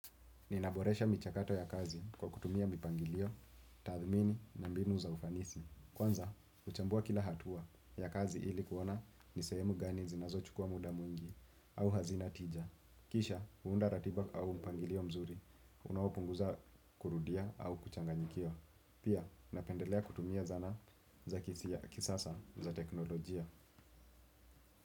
Ninaboresha michakato ya kazi kwa kutumia mipangilio, tathmini na mbinu za ufanisi. Kwanza, uchambua kila hatua ya kazi ili kuona ni sehemu gani zinazo chukua muda mwingi au hazina tija. Kisha, huunda ratiba au mpangilio mzuri, unawopunguza kurudia au kuchanganyikiwa. Pia, napendelea kutumia zana za kisasa za teknolojia.